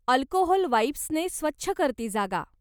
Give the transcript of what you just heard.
Alcohol वाइप्सने स्वच्छ कर ती जागा.